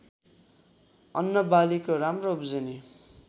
अन्नबालीको राम्रो उब्जनी